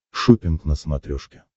шоппинг на смотрешке